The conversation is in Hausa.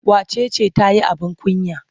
Wace ce ta yi abin kunya?